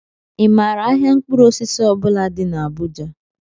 ị maara ahịa mkpụrụ osisi ọ bula dị n'Abuja?